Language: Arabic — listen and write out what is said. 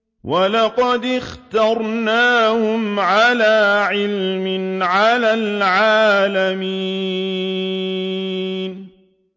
وَلَقَدِ اخْتَرْنَاهُمْ عَلَىٰ عِلْمٍ عَلَى الْعَالَمِينَ